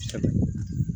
Sanunɛgɛnin yo wa